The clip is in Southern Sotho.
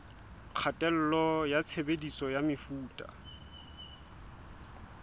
kgatello ya tshebediso ya mefuta